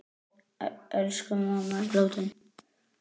Elsku mamma er látin.